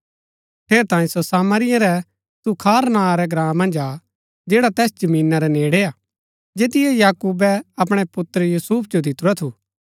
ठेरैतांये सो सामरिया रै सूखार नां रै ग्राँ मन्ज आ जैडा तैस जमीना रै नेड़ै हा जैतियो याकूबे अपणै पुत्र यूसुफ जो दितुरा थू